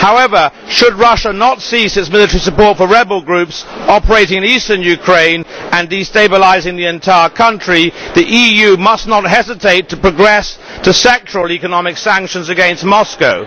However, should Russia not cease its military support for rebel groups operating in eastern Ukraine and destabilising the entire country the EU must not hesitate to progress to sectoral economic sanctions against Moscow.